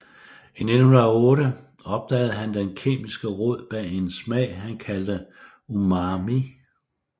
I 1908 opdagede han den kemiske rod bag en smag han kaldte umami